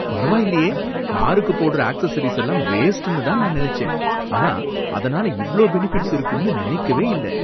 பரவாயில்லயே! காருக்கு போடுற அக்செஸரீஸ் எல்லாம் வேஸ்ட்னு தான் நான் நினைச்சேன், ஆனா அதனால இவ்ளோ பெனிஃபிட்ஸ் இருக்கும்னு நினைக்கவே இல்ல.